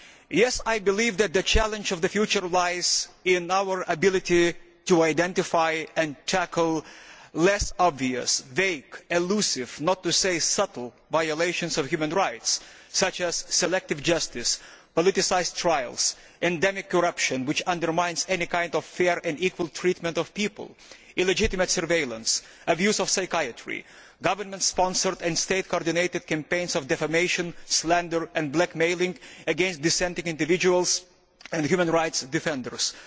Yes, I believe that the challenge of the future lies in our ability to identify and tackle less obvious, vague and elusive not to say subtle violations of human rights, such as selective justice, politicised trials and endemic corruption all of which undermine any kind of fair and equal treatment of people as well as illegitimate surveillance, abuse of psychiatry, government sponsored and state coordinated campaigns of defamation, and slander and blackmail against dissenting individuals and human rights defenders.